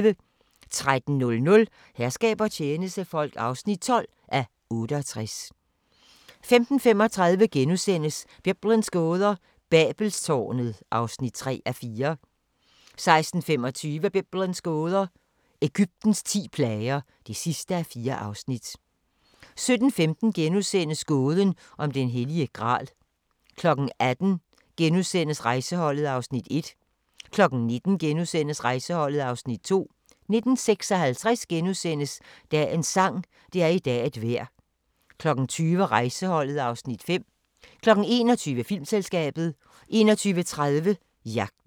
13:00: Herskab og tjenestefolk (12:68) 15:35: Biblens gåder – Babelstårnet (3:4)* 16:25: Biblens gåder – Egyptens ti plager (4:4) 17:15: Gåden om den hellige gral * 18:00: Rejseholdet (Afs. 1)* 19:00: Rejseholdet (Afs. 2)* 19:56: Dagens sang: Det er i dag et vejr * 20:00: Rejseholdet (Afs. 5) 21:00: Filmselskabet 21:30: Jagten